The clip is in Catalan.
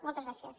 moltes gràcies